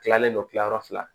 Tilalen don kilayɔrɔ fila